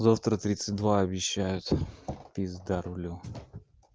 завтра тридцать два обещают пизда рулю